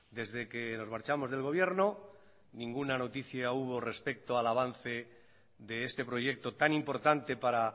desde que nos marchamos del gobierno ninguna noticia hubo respecto al avance de este proyecto tan importante para